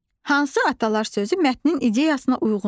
Hansı atalar sözü mətnin ideyasına uyğundur?